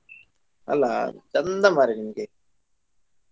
ಅಲ್ಲಾ ಚಂದ ಮರ್ರೆ ನಿಮ್ಗೆ.